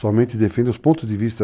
Somente defende os pontos de vista